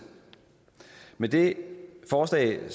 med det forslag